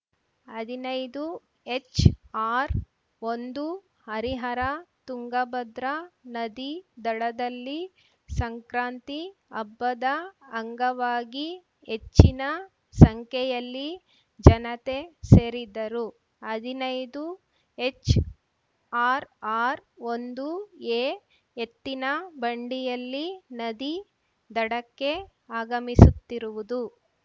ಅದಿನೈದು ಎಚ್‌ಆರ್‌ಒಂದು ಹರಿಹರ ತುಂಗಭದ್ರಾ ನದಿ ದಡದಲ್ಲಿ ಸಂಕ್ರಾಂತಿ ಹಬ್ಬದ ಅಂಗವಾಗಿ ಹೆಚ್ಚಿನ ಸಂಖ್ಯೆಯಲ್ಲಿ ಜನತೆ ಸೇರಿದ್ದರು ಅದಿನೈದು ಎಚ್‌ಆರ್‌ಆರ್‌ಒಂದುಎ ಎತ್ತಿನ ಬಂಡಿಯಲ್ಲಿ ನದಿ ದಡಕ್ಕೆ ಆಗಮಿಸುತ್ತಿರುವುದು